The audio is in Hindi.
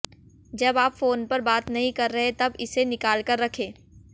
जब आप फ़ोन पर बात नहीं कर रहे तब इसे निकालकर रखें